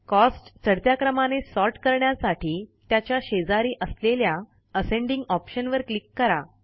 cost चढत्या क्रमाने sort करण्यासाठी त्याच्या शेजारी असलेल्या असेंडिंग ऑप्शन वर क्लिक करा